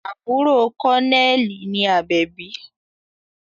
Àbúrò kọ́nẹ́ẹ̀lì ni Àbẹ̀bí